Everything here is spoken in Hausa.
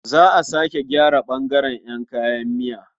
Za a sake gyara ɓangaren ƴan kayan miya.